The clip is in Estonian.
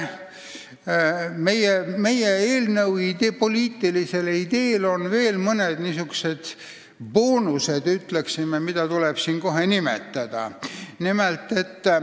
Meie eelnõu poliitilisel ideel on veel mõned, ütleksin, boonused, mida tuleb siin nimetada.